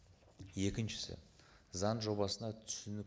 екіншісі заң жобасына түсінік